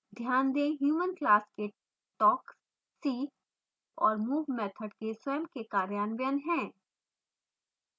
ध्यान दें human class के talk see और move मैथड के स्वयं के कार्यान्वयन हैं